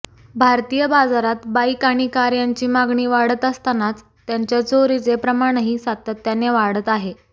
भारतीय बाजारात बाईक आणि कार यांची मागणी वाढत असतानाच त्यांच्या चोरीचे प्रमाणही सातत्याने वाढत आहे